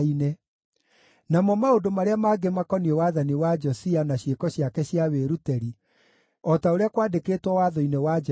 Namo maũndũ marĩa mangĩ makoniĩ wathani wa Josia na ciĩko ciake cia wĩrutĩri, o ta ũrĩa kwandĩkĩtwo Watho-inĩ wa Jehova,